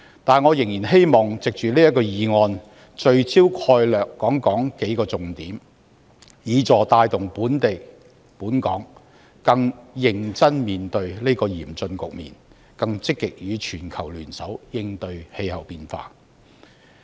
但是，我仍然希望藉着這項議案辯論，聚焦數個重點概略，以協助帶動本港更認真地面對這個嚴峻局面，更積極與全球聯手應對氣候變化。